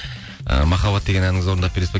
ы махаббат деген әніңізді орындап бересіз бе